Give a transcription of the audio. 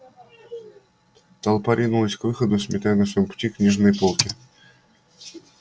толпа ринулась к выходу сметая на своём пути книжные полки